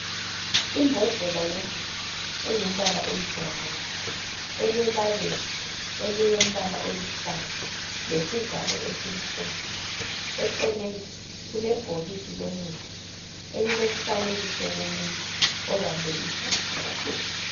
Imbodlela yomuthi engumbala oyibrown elelabela elilombala oluhlaza lesivalo esimhlophe eceleni kulebhokisi lomuthi elilomfanekiso womuntu obambe isisu